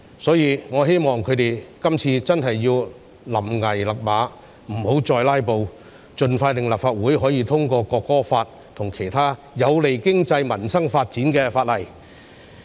所以，我希望他們今次真的要臨崖勒馬，不要再"拉布"，盡快讓立法會通過《條例草案》及其他有利經濟民生發展的法例。